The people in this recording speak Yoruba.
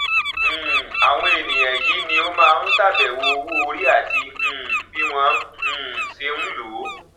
um àwọn ènìyàn yìí ni ó máa ń ṣàbẹwò owó orí àti um bí wọn um ṣe ń lò ó